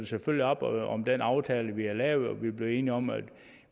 selvfølgelig op om den aftale vi har lavet og vi er blevet enige om at